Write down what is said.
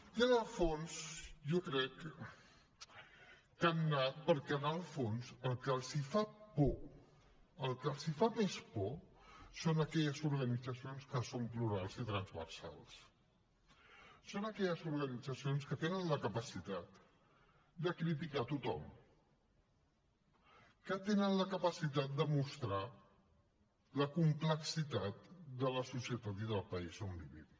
i en el fons jo crec que hi han anat perquè en el fons el que els fa por el que els fa més por són aquelles organitzacions que són plurals i transversals són aquelles organitzacions que tenen la capacitat de criticar a tothom que tenen la capacitat de mostrar la complexitat de la societat i del país on vivim